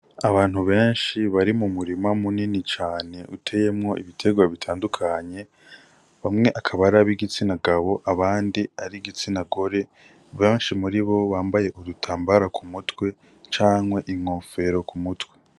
Abantu benshi bari m'umurima munini cane uteyemwo ibiterwa bitandukanye, bamwe akaba arib' igitsina gabo ,abandi ar'igitsina gore benshi muribo bambaye udutambara k'umutwe canke inkofero k'umutwe.